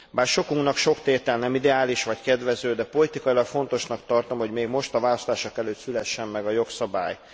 Bár sokunknak sok tétel nem ideális vagy kedvező, de politikailag fontosnak tartom, hogy még most, a választások előtt szülessen meg a jogszabály.